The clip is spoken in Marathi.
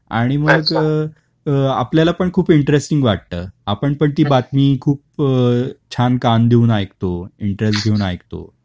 speaker 2 आणि मग अ आपल्याला पण खूप इंटरेस्टिंग वाटत. आपण ती बातमी खूप अ छान कान देऊन ऐकतो, इन्टरेस्ट घेऊन ऐकतो